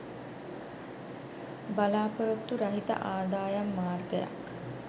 බලා‍පොරොත්තු රහිත ආදායම් මාර්ගයක්